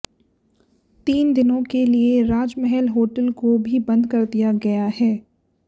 तीन दिनें के लिए राजमहल होटल को भी बंद कर दिया गया है